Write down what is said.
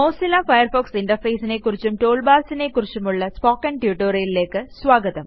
Mozilla Firefox Interfaceനെ ക്കുറിച്ചും Toolbarsനെ ക്കുറിച്ചുമുള്ള സ്പോക്കൻ Tutorialലേയ്ക്ക് സ്വാഗതം